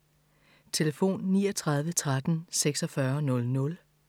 Telefon: 39 13 46 00